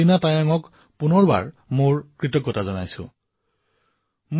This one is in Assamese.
অৰুণাচলৰ আমাৰ কণমানি বন্ধু বিদ্যাৰ্থী অলীনা তায়ঙক পুনৰবাৰ ধন্যবাদ জ্ঞাপন কৰিছো